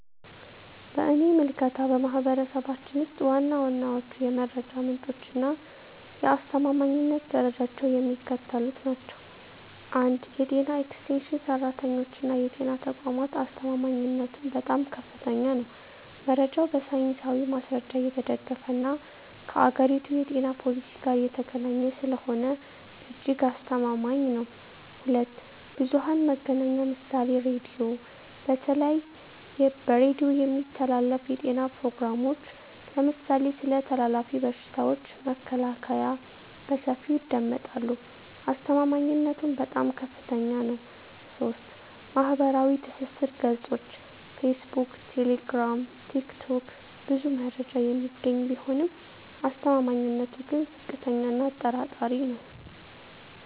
በእኔ ምልከታ፣ በማኅበረሰባችን ውስጥ ዋና ዋናዎቹ የመረጃ ምንጮችና የአስተማማኝነት ደረጃቸው የሚከተሉት ናቸው፦ 1. የጤና ኤክስቴንሽን ሠራተኞችና የጤና ተቋማት አስተማማኝነቱም በጣም ከፍተኛ ነው። መረጃው በሳይንሳዊ ማስረጃ የተደገፈና ከአገሪቱ የጤና ፖሊሲ ጋር የተገናኘ ስለሆነ እጅግ አስተማማኝ ነው። 2. ብዙኃን መገናኛ ምሳሌ ራዲዮ:- በተለይ በሬዲዮ የሚተላለፉ የጤና ፕሮግራሞች (ለምሳሌ ስለ ተላላፊ በሽታዎች መከላከያ) በሰፊው ይደመጣሉ። አስተማማኝነቱም በጣም ከፍታኛ ነው። 3. ማኅበራዊ ትስስር ገጾች (ፌስቡክ፣ ቴሌግራም፣ ቲክቶክ) ብዙ መረጃ የሚገኝ ቢሆንም አስተማማኝነቱ ግን ዝቅተኛ እና አጠራጣሪ ነው።